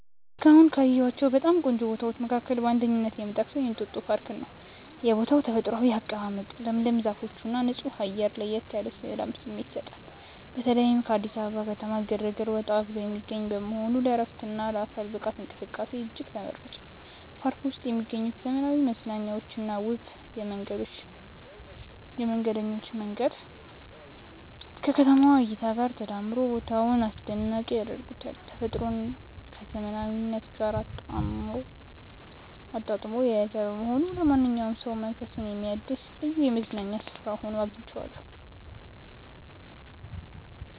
እስካሁን ካየኋቸው በጣም ቆንጆ ቦታዎች መካከል በአንደኝነት የምጠቀሰው የእንጦጦ ፓርክን ነው። የቦታው ተፈጥሯዊ አቀማመጥ፣ ለምለም ዛፎችና ንጹህ አየር ለየት ያለ የሰላም ስሜት ይሰጣል። በተለይም ከአዲስ አበባ ከተማ ግርግር ወጣ ብሎ የሚገኝ በመሆኑ ለዕረፍትና ለአካል ብቃት እንቅስቃሴ እጅግ ተመራጭ ነው። በፓርኩ ውስጥ የሚገኙት ዘመናዊ መዝናኛዎችና ውብ የመንገደኞች መንገዶች ከከተማዋ እይታ ጋር ተዳምረው ቦታውን አስደናቂ ያደርጉታል። ተፈጥሮን ከዘመናዊነት ጋር አጣጥሞ የያዘ በመሆኑ ለማንኛውም ሰው መንፈስን የሚያድስ ልዩ የመዝናኛ ስፍራ ሆኖ አግኝቼዋለሁ።